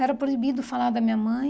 Era proibido falar da minha mãe.